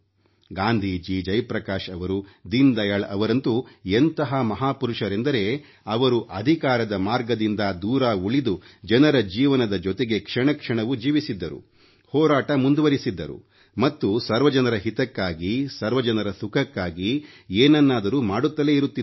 ಗಾಂಧೀಜಿ ಜಯಪ್ರಕಾಶ್ ಅವರು ದೀನದಯಾಳ್ ಅವರಂತೂ ಎಂತಹ ಮಹಾಪುರುಷರೆಂದರೆ ಅವರು ಅಧಿಕಾರದ ಮಾರ್ಗದಿಂದ ದೂರ ಉಳಿದು ಜನರ ಜೀವನದ ಜೊತೆಗೆ ಕ್ಷಣ ಕ್ಷಣವೂ ಜೀವಿಸಿದ್ದರು ಹೋರಾಟ ಮುಂದುವರೆಸಿದ್ದರು ಮತ್ತು ಸರ್ವ ಜನರ ಹಿತಕ್ಕಾಗಿ ಸರ್ವ ಜನರ ಸುಖಕ್ಕಾಗಿ ಏನನ್ನಾದರೂ ಮಾಡುತ್ತಲೇ ಇರುತ್ತಿದ್ದರು